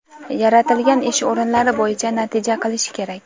yaratilgan ish o‘rinlari bo‘yicha natija qilishi kerak.